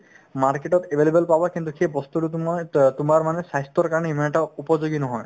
market তত available পাবা কিন্তু সেই বস্তুতো তোমাৰ ত তোমাৰ মানে স্বাস্থ্যৰ কাৰণে ইমান এটা উপযোগী নহয়